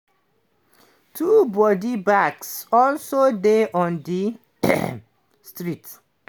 two body bags also dey on di street.